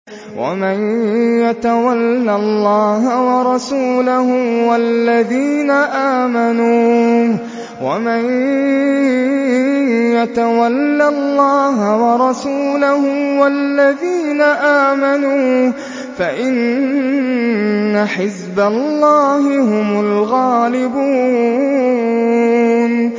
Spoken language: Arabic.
وَمَن يَتَوَلَّ اللَّهَ وَرَسُولَهُ وَالَّذِينَ آمَنُوا فَإِنَّ حِزْبَ اللَّهِ هُمُ الْغَالِبُونَ